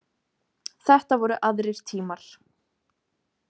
Þetta voru aðrir tímar.